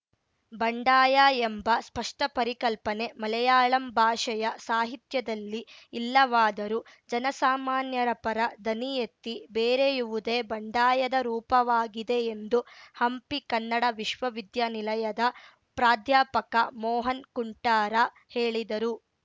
ಬಂಡಾಯ ಎಂಬ ಸ್ಪಷ್ಟಪರಿಕಲ್ಪನೆ ಮಲಯಾಳಂ ಭಾಷೆಯ ಸಾಹಿತ್ಯದಲ್ಲಿ ಇಲ್ಲವಾದರೂ ಜನಸಾಮಾನ್ಯರ ಪರ ದನಿಯೆತ್ತಿ ಬೇರೆಯುವುದೇ ಬಂಡಾಯದ ರೂಪವಾಗಿದೆ ಎಂದು ಹಂಪಿ ಕನ್ನಡ ವಿಶ್ವವಿದ್ಯಾನಿಲಯದ ಪ್ರಾಧ್ಯಾಪಕ ಮೋಹನ್‌ ಕುಂಟಾರ ಹೇಳಿದರು